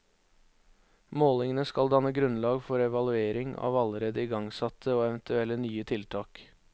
Målingene skal danne grunnlag for evaluering av allerede igangsatte og eventuelle nye tiltak.